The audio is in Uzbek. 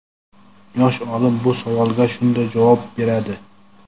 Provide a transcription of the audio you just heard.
Yosh olim bu savolga shunday javob beradi:.